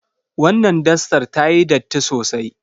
Wannan dastar tayi datti sosai.